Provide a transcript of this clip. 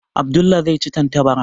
Abdullah zai ci tantabara.